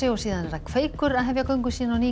kveikur hefur göngu sína á ný